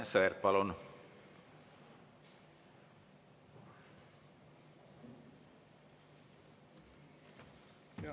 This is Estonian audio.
Aivar Sõerd, palun!